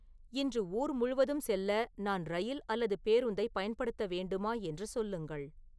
இன்று ஊர் முழுவதும் செல்ல நான் இரயில் அல்லது பேருந்தை பயன்படுத்த வேண்டுமா என்று சொல்லுங்கள்